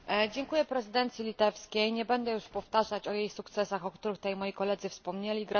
Dziękuję prezydencji litewskiej, nie będę już powtarzać o jej sukcesach, o których tutaj moi koledzy wspomnieli.